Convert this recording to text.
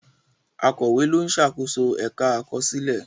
Akọ̀wé ló ń ṣàkóso ẹ̀ka àkọsílẹ̀.